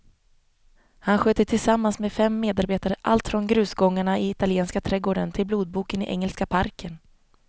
Han sköter tillsammans med fem medarbetare allt från grusgångarna i italienska trädgården till blodboken i engelska parken.